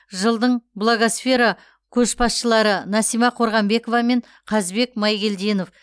жылдың блогосфера көшбасшылары насима қорғанбекова мен қазбек майгелдинов